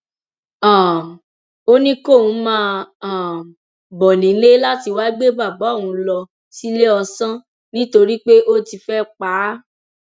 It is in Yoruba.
um ó ní kóun máa um bọ nílé láti wáá gbé bàbá òun lọ síléeọsán nítorí pé òun ti fẹẹ pa á